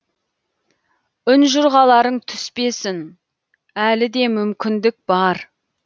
ұнжұрғаларың түспесін әлі де мүмкіндік бар